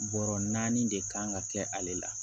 Bɔrɔ naani de kan ka kɛ ale la